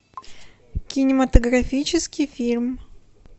кинематографический фильм